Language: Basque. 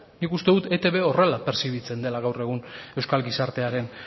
nik uste dut eitb horrela pertzibitzen dela gaur egun euskal gizartearen